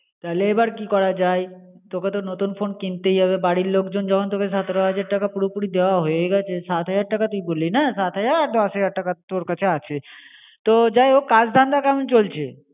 তাহলে এবার কি করা যায়! তোকে তো নতুন ফোন কিনতেই হবে. বাড়ির লোকজন যখন তোকে সতেরো হাজার টাকা পুরোপুরি দেওয়া হো গেছেই, সাত হাজার টাকা তুই বলিনা আর দশ হাজার টাকা তোর কাছে আছে. তো যাই হোক কাজ ধন্দ ক্মন চলছে?